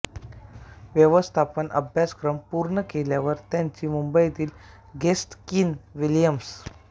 व्यवस्थापन अभ्यासक्रम पूर्ण केल्यावर त्यांनी मुंबईतील गेस्ट कीन विल्यम्स